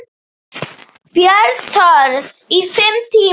Björn Thors: Í fimm tíma?